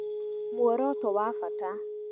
Mworoto wabata